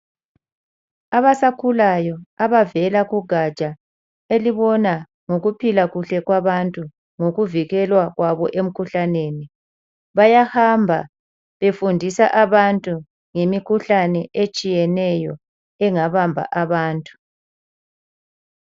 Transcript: Abasakhulayo abavela kugatsha elibona ngokuphila kuhle kwabantu, ngokuvikelwa kwabo emkhuhlaneni. Bayahamba befundisa abantu ngemikhuhlane etshiyeneyo engabamba abantu.